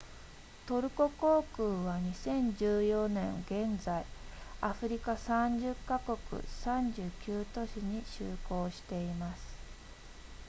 トルコ航空は2014年現在アフリカ30カ国39都市に就航しています